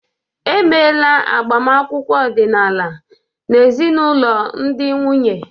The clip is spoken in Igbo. Emeela agbamakwụkwọ ọdịnala n'ezinụlọ ndị nwunye.